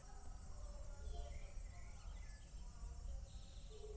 Sonur þeirra er Aron Fannar.